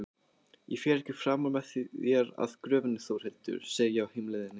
Ég fer ekki framar með þér að gröfinni Þórhildur, segi ég á heimleiðinni.